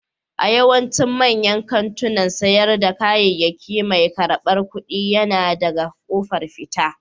A yawaicin manyan kantunan sayar da kayayyaki mai karɓar kuɗi yana daga ƙofar fita.